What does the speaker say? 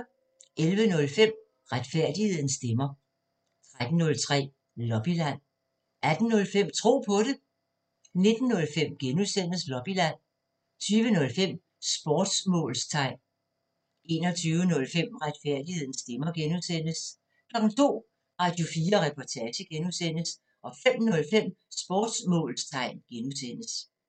11:05: Retfærdighedens stemmer 13:05: Lobbyland 18:05: Tro på det 19:05: Lobbyland (G) 20:05: Sportsmålstegn 21:05: Retfærdighedens stemmer (G) 02:00: Radio4 Reportage (G) 05:05: Sportsmålstegn (G)